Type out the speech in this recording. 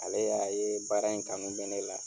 Ale y'a ye baara in kanu bɛ ne la.